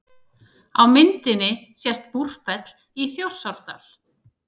Á myndinni sést Búrfell í Þjórsárdal.